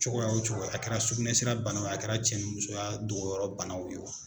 Cogoya o cogoya a kɛra sugunɛsira bana o a kɛra cɛnimusoya dɔgɔyɔrɔ banaw ye o